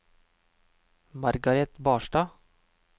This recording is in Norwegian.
Margareth Barstad